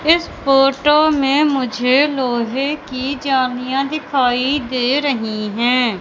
इस फोटो में मुझे लोहे की जालियाँ दिखाई दे रही हैं।